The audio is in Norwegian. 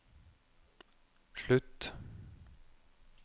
slutt